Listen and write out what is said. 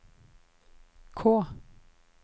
K